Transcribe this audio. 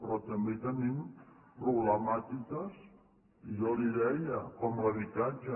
però tenim problemàtiques i jo li ho deia com l’habitatge